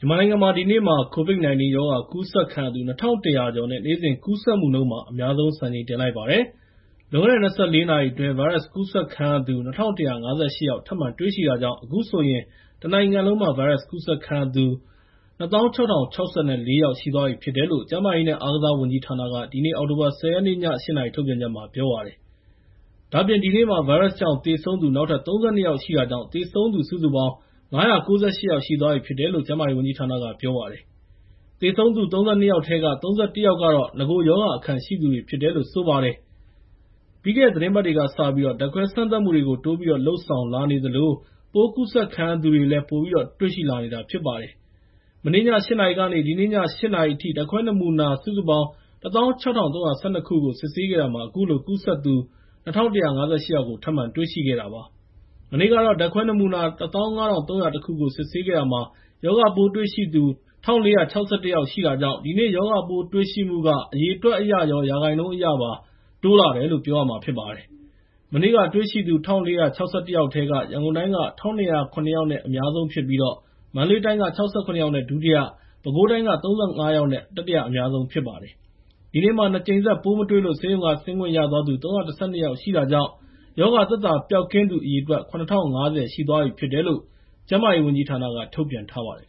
မြန်မာနိုင်ငံမှာ ဒီနေ့မှာ COVID-19 ရောဂါ ကူးစက်ခံရသူ ၂,၁၀၀ ကျော်နဲ့ နေ့စဉ်ကူးစက်မှုနှုန်းမှာ အများဆုံး စံချိန်တင်လိုက်ပါတယ်။ လွန်ခဲ့တဲ့ ၂၄ နာရီအတွင်း ဗိုင်းရပ်စ်ကူးစက်သူ ၂,၁၅၈ ယောက် ထပ်မံတွေ့ရှိတာကြောင့် အခုဆိုရင် တနိုင်ငံလုံးမှာ ဗိုင်းရပ်စ်ကူးစက်ခံရသူ ၂၆,၀၆၄ ယောက် ရှိသွားပြီဖြစ်တယ်လို့ ကျန်းမာရေးနဲ့ အားကစားဝန်ကြီးဌာနက ဒီနေ့ အောက်တိုဘာ ၁၀ ရက် ည ၈ နာရီ ထုတ်ပြန်ချက်မှာ ပြောပါတယ်။ ဒါ့အပြင် ဒီနေ့မှာ ဗိုင်းရပ်စ်ကြောင့် သေဆုံးသူ နောက်ထပ် ၃၂ ယောက်ရှိတာကြောင့် သေဆုံးသူ စုစုပေါင်း ၅၉၈ ယောက် ရှိသွားပြီဖြစ်တယ်လို့ ကျန်းမာရေးဝန်ကြီးဌာနက ပြောပါတယ်။ သေဆုံးသူ ၃၂ ယောက်ထဲက ၃၁ ယောက်က ရောဂါအခံရှိသူတွေ ဖြစ်တယ်လို့ ပြောပါတယ်။ ပြီးခဲ့တဲ့ သီတင်းပတ်တွေကစပြီး ဓာတ်ခွဲစမ်းသပ်မှုတွေကို တိုးပြီးတော့ လုပ်ဆောင်လာနေသလို ပိုးကူးစက်ခံရသူတွေလည်း ပိုပြီးတော့ တွေ့ရှိလာနေတာ ဖြစ်ပါတယ်။ မနေ့ည ၈ နာရီကနေ ဒီနေ့ည ၈ နာရီအထိ ဓာတ်ခွဲနမူနာ ၁၆,၃၁၂ ခုကို စစ်ဆေးခဲ့တာမှာ အခုလို ကူးစက်သူ ၂,၁၅၈ ယောက် ထပ်မံတွေ့ရှိခဲ့တာ ဖြစ်ပါတယ်။ မနေ့ကတော့ ဓာတ်ခွဲနမူနာ ၁၅,၃၀၁ ကို စစ်ဆေးခဲ့တာမှာ ရောဂါပိုးတွေ့ရှိသူ ၁,၄၆၁ ယောက်ရှိတာကြောင့် ဒီနေ့ ရောဂါပိုးတွေ့ရှိမှုက အရေအတွက်အရရော ရာခိုင်နှုန်းအရပါ တိုးလာနေတယ်လို့ ပြောရမှာဖြစ်ပါတယ်။ မနေ့ကတွေ့ရှိသူ ၁,၄၆၁ ယောက်ထဲမှာ ရန်ကုန်တိုင်းက ၁,၂၀၇ ယောက်နဲ့ အများဆုံးဖြစ်ပြီး မန္တလေးတိုင်းက ၆၇ ယောက်နဲ့ ဒုတိယ၊ ပဲခူးတိုင်းက ၃၅ ယောက်နဲ့ တတိယအများဆုံး ဖြစ်ခဲ့ပါတယ်။ ဒီနေ့မှာ ၂ ကြိမ်ဆက် ပိုးမတွေ့လို ဆေးရုံက ဆင်းခွင့်ရ ၃၁၂ ယောက်ရှိတာကြောင့် ရောဂါသက်သာ ပျောက်ကင်းသူ အရေအတွက် ၇,၀၅၀ ရှိသွားပြီဖြစ်တယ်လို့ ကျန်းမာရေးဝန်ကြီးဌာနက ထုတ်ပြန်ထားပါတယ်